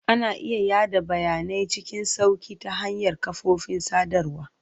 Ana iya yada bayanai cikin sauƙi ta hanyar kafofin sadarwa.